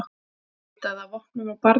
Leitaði að vopnum á barni